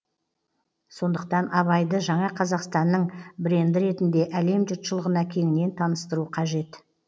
сондықтан абайды жаңа қазақстанның бренді ретінде әлем жұртшылығына кеңінен таныстыру қажет